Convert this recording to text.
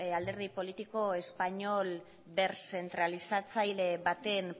alderdi politiko espainol berzentralizatzaile baten